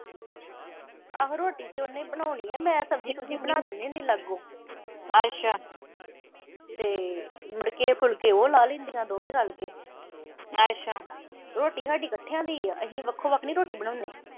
ਆਹੋ ਰੋਟੀ ਤੇ ਉਹਨੇ ਬਣਾਉਣੀ ਆਂ, ਮੈਂ ਸਬਜ਼ੀ -ਸੁਬਜ਼ੀ ਬਣਾ ਦਿੰਨੀ ਹੁੰਨੀ ਆਂ ਲਾਗੋਂ ਤੇ ਮੁੜ ਕੇ ਫੁਲਕੇ ਉਹ ਲਾਹ ਲੈਂਦੀਆਂ ਦੋਵੇਂ ਰਲ ਕੇ ਰੋਟੀ ਸਾਡੀ ਇਕੱਠਿਆ ਦੀ ਆ, ਅਸੀਂ ਵੱਖੋ-ਵੱਖ ਨੀਂ ਰੋਟੀ ਬਣਾਉਂਦੇ।